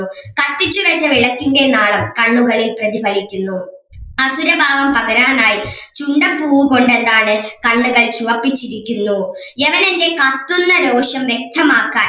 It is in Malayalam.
കത്തിച്ചുവെച്ച വിളക്കിന്റെ നാളം കണ്ണുകളിൽ പ്രതിഫലിക്കുന്നു അസുരഭാവം പകരാനായി ചുണ്ടപ്പൂവ് കൊണ്ട് എന്താണ് കണ്ണുകൾ ചുവപ്പിച്ചിരിക്കുന്നു യവനൻ്റെ കത്തുന്ന രോക്ഷം വ്യക്തമാക്കാൻ